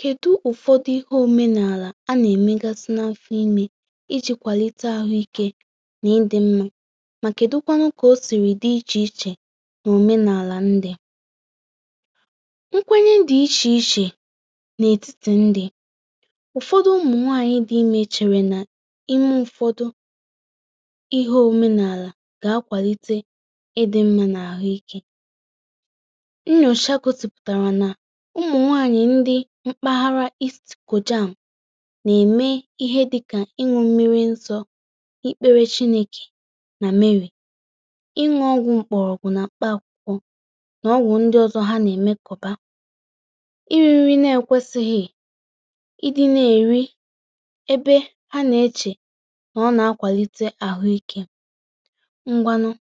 Kèdu ụfọdụ ihe omenala a nà-èmègasụ n’afụ imė iji̇ kwàlite àhụikė nà ndí mmȧ, mà kèdụkwanụ kà o sìrì dị ichè ichè nà omenala ndí, nkwànyè dị ichè ichè n’etiti ndí, ụfọdụ̀ ụmụ̀nwànyị̀ dị imė chèré nà imė ụfọdụ̀ ihe omenala gà-akwàlite ìdị̀ mmȧ n’àhụikė nyòcha gòsìpùtárà nà ụmụ̀nwànyị̀ ndí mkpàghàrà nà-èmè ihe dịkà ịṅụ̇ mmìrì nsọ, ìkpèrè Chinēkè nà Mary, ịṅụ̇ ògwù mkpọ̀rọ̀gwù nà mkpà kwụ̀kwọ nà ògwù ndí ọzọ hà nà-èmè kọ̀bà, ịrị̇ nri̇ na-ekwesìghì, ìdị̇ nà-èrí ebe hà nà-eche nà ọ̀ nà-akwàlite àhụikė. Ǹgwànụ̀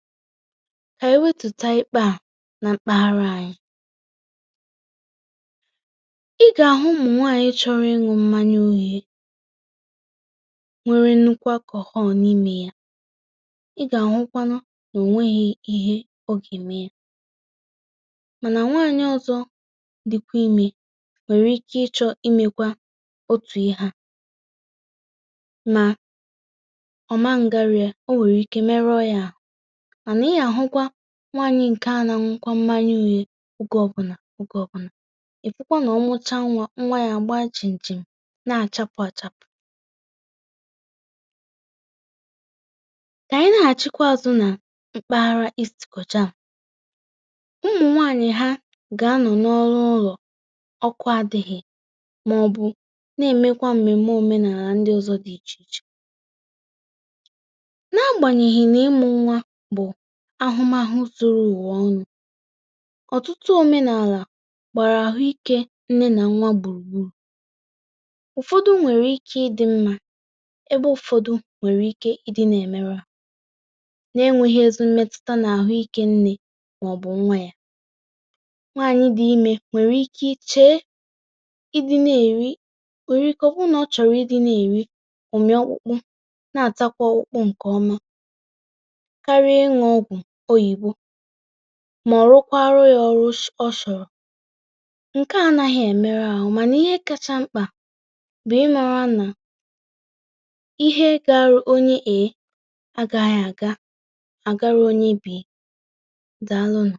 kà ànyị wètùtà ịkpà à nà mkpàghàrà ànyị ị gà-àhụ̀ ụmụ̀nwànyị̀ chọ́rò ịṅụ̇ mmànyà ùhìe, nwèrè ńnụ́kwù Alcohol n’ímé yà, ị gà-àhụ̀kwanụ̀ nà ò nwèghì ihe ọ gà-ème yà, mànà nwànyị̀ òzò díkwa imė nwèrè ike ịchọ̇ imèkwà òtù ihe à mà ọ̀ man gàrị̀ yà, ọ nwèrè ike mèrò yà, mànà ị gà-àhụ̀kwà nwànyị̀ ǹkè à, nà-àṅụ̇kwà mmànyà ùhìe ògé ọbụnà ògé ọbụnà, íhùkwà nà òmùchá nwà, nwà yà àgbà chim chim, nà-chàpụ̀ à-chàpụ̀ kà ànyị nà-àchịkwa zù nà mkpàghàrà ụmụ̀nwànyị̀ hà gà-ànọ̀ n’ọ́rụ̀ ụ̀lọ̀ ọ̀kụ̀ àdíghì̇, màọ̀bụ̀ nà-èmèkwà mmèm̀mè òmenàlà ndí òzò dị ichè ichè nà-àgbànyèghì nà ịmù̇ nwà bụ̀ àhụ̀mahụ̀ zòrò ụ̀wà ọnụ̇, ọ̀tụ̀tụ̀ omenala gbàrà àhụ̀ikė nnè nà nwà gbùrù gbúrù, ụ̀fọdụ̀ nwèrè ike ìdị̇ mmȧ, èbè ụ̀fọdụ̀ nwèrè ike ìdị̇ nà-èmerò̇ nà-ènwèghì̇ èzì mmetùtà àhụ̀ikė nnè màọ̀bụ̀ nwà yà, nwànyị̀ dị imė nwèrè ike chè ìdị̇ nà-èrí, nwèrè ike ọbụnà ọ̀ chọ̀rò̇ ìdị̇ nà-èrí ụ̀mị-ọkpụkpụ, nà-àtakwa ọ̀kpụ̀kpụ ǹkè ọma karíà ịṅụ̇ ògwù oyìbò, mà ọ̀rụ̀kwà àrụ̀ yà òrụ̀ ( ụ̀m ) òchòrò, nkè à àdàghì̇ mèrù àhụ̀, mànà ìhè kàchá mkpa bụ̀ ímàrā nà ìhè gà-àrụ̀ ònyè A, à gà-àdàghì àgàrà ònyè B, dàlù nụ.